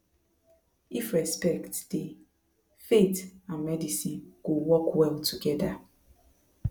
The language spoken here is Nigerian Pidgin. if respect dey faith and medicine go work well together